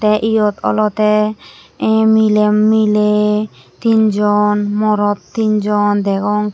te eyot olowde em miley miley tinjon morot tinjon degong teh.